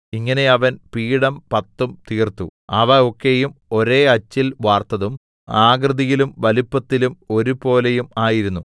ഇങ്ങനെ അവൻ പീഠം പത്തും തീർത്തു അവ ഒക്കെയും ഒരേ അച്ചിൽ വാർത്തതും ആകൃതിയിലും വലിപ്പത്തിലും ഒരുപോലെയും ആയിരുന്നു